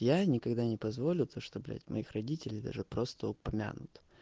я никогда не позволю то что блять моих родителей даже просто упомянут